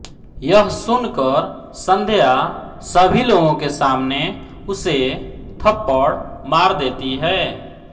यह सुनकर संध्या सभी लोगों के सामने उसे थप्पड़ मार देती है